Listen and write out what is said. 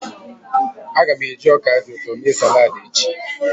Aga m eji ọka dị ụtọ mee salad echi.